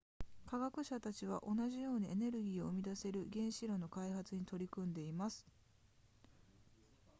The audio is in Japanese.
科学者たちは同じようにエネルギーを生み出せる原子炉の開発に取り組んでいます